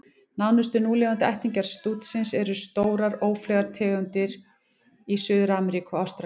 Nánustu núlifandi ættingjar stútsins eru stórar, ófleygar tegundir í Suður-Ameríku og Ástralíu.